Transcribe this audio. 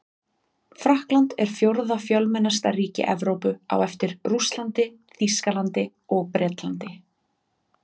Frakkland er fjórða fjölmennasta ríki Evrópu á eftir Rússlandi, Þýskalandi og Bretlandi.